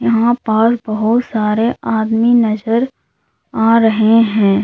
यहां पास बहुत सारे आदमी नजर आ रहे हैं।